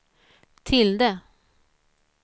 tilde